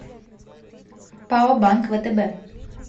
пао банк втб